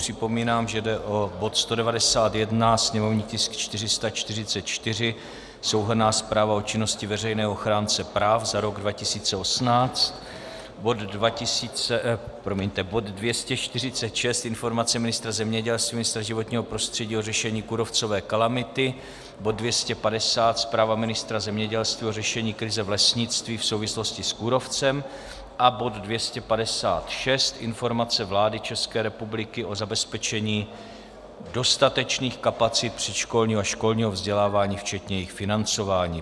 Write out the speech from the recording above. Připomínám, že jde o bod 191, sněmovní tisk 444, Souhrnná zpráva o činnosti veřejného ochránce práv za rok 2018; bod 246, Informace ministra zemědělství, ministra životního prostředí o řešení kůrovcové kalamity; bod 250, Zpráva ministra zemědělství o řešení krize v lesnictví v souvislosti s kůrovcem, a bod 256, Informace vlády České republiky o zabezpečení dostatečných kapacit předškolního a školního vzdělávání včetně jejich financování.